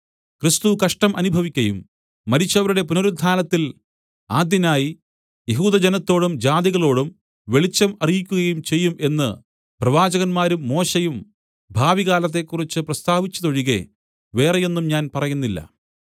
ക്രിസ്തു കഷ്ടം അനുഭവിക്കയും മരിച്ചവരുടെ പുനരുത്ഥാനത്തിൽ ആദ്യനായി യഹൂദജനത്തോടും ജാതികളോടും വെളിച്ചം അറിയിക്കുകയും ചെയ്യും എന്ന് പ്രവാചകന്മാരും മോശെയും ഭാവികാലത്തെക്കുറിച്ച് പ്രസ്താവിച്ചതൊഴികെ വേറെയൊന്നും ഞാൻ പറയുന്നില്ല